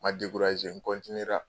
Ma n ra